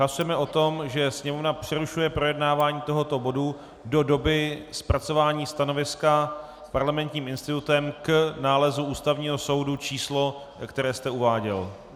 Hlasujeme o tom, že Sněmovna přerušuje projednávání tohoto bodu do doby zpracování stanoviska Parlamentním institutem k nálezu Ústavního soudu číslo, které jste uváděl.